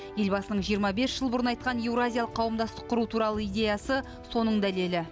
елбасының жиырма бес жыл бұрын айтқан еуразиялық қауымдастық құру туралы идеясы соның дәлелі